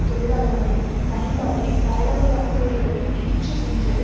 தொழிலாளர்களின் பயன்பாட்டைப் பரலவலாக்குவதன் ஈற்று சென்றது